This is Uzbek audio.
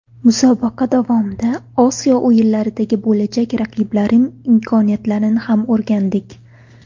Musobaqa davomida Osiyo o‘yinlaridagi bo‘lajak raqiblarim imkoniyatini ham o‘rgandik.